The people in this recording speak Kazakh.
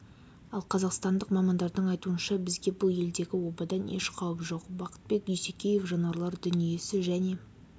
ал қазақстандық мамандардың айтуынша бізге бұл елдегі обадан еш қауіп жоқ бақытбек дүйсекеев жануарлар дүниесі және